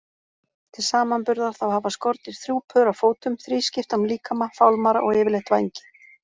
Til samanburðar þá hafa skordýr þrjú pör af fótum, þrískiptan líkama, fálmara og yfirleitt vængi.